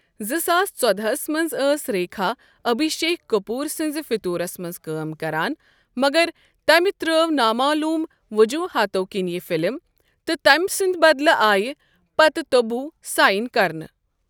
زٕ ساس ژۄدہس منز ٲس ریكھا ابھشیك كپوُر سنزِ فتورس منز كٲم كران، مگر تمہِ ترٛٲو نا معلوُم وجوٗحاتو كِنۍ یہ فِلم تہٕ تٔمۍ سٕنٛدِ بدلہٕ آیہ پتہٕ تبوٗ ساین كرنہٕ ۔